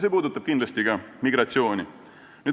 See puudutab kindlasti ka migratsiooni.